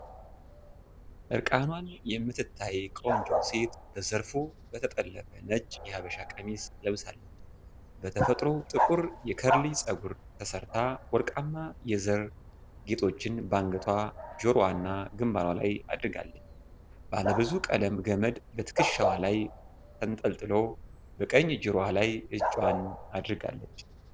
እርቃኗን የምትታይ ቆንጆ ሴት በዘርፉ በተጠለፈ ነጭ የሀበሻ ቀሚስ ለብሳለች። በተፈጥሮ ጥቁር የከርሊ ፀጉር ተሰራርታ ወርቃማ የዘር ጌጦችን በአንገቷ፣ ጆሮዋና ግንባሯ ላይ አድርጋለች። ባለብዙ ቀለም ገመድ በትከሻዋ ላይ ተንጠልጥሎ በቀኝ ጆሮዋ ላይ እጇን አድርጋለች።